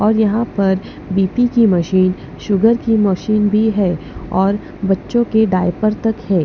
और यहां पर बी_पी की मशीन शुगर की मशीन भी है और बच्चों के डायपर तक है।